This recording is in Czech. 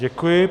Děkuji.